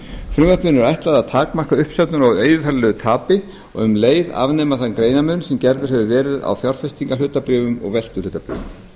frumvarpinu er ætlað að takmarka uppsöfnun á yfirfæranlegu tapi og um leið afnema þann greinarmun sem gerður hefur verið á fjárfestingarhlutabréfum og veltuhlutabréfum